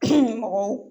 mɔgɔw